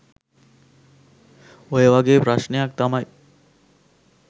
ඔය වගේ ප්‍රශ්නයක් තමයි